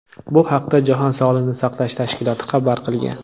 Bu haqda jahon sog‘liqni saqlash tashkiloti xabar qilgan .